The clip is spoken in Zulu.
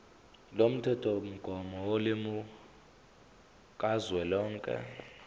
lomthethomgomo wolimi kazwelonke